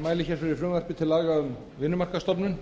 mæli hér fyrir frumvarpi til laga um vinnumarkaðsstofnun